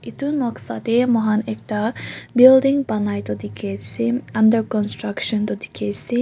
etu noksa te mo khan ekta building bonai tu dekhi ase under countruction tu dekhi ase.